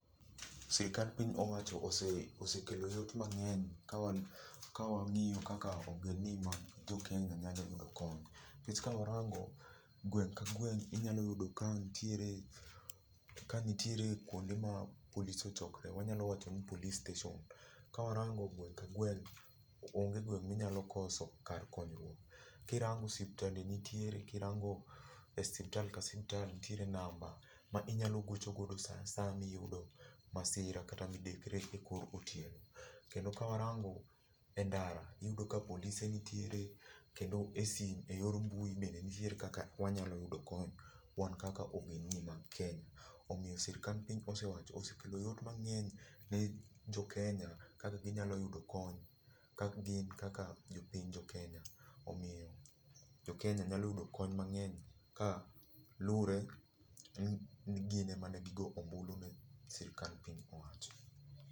Sirkal piny owacho osekelo yot mangeny ka wangiyo kaka ogendni ma jokenya nyalo yudo kony nikech ka warango gweng ka gweng inyalo yudo ka nitiere, ka nitiere kuonde ma polis ochokore, wanyalo wacho ni police station. Ka warango gweng ka gweng onge gweng minyalo koso kar konyruok. Kirango osiptande nitiere, kirango osiptal ka siptal nitiere namba ma inyalo gocho godo saa asaya miyudo masira kata midekre ekor otieno. Kendo ka warango e ndara wayudo ka polise be nitiere kendo e sime, eyor mbui be nitie kaka wanyalo yudo kony wan kaka ogendni ma jokenya. Omiyo sirkal piny owacho osekelo yot mangeny ne jkenya kaka ginyalo yudo kony kagin kaka jopiny jokenya ,omiyo jokenya nyalo yudo kony mangeny ka lure ni gin emane gigo ombulu ne sirkal piny owacho.